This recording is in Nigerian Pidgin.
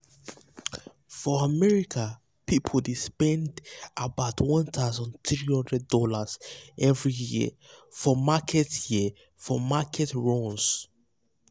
for america um people dey spend about [um]one thousand three hundred dollarsevery um year for market year for market runs.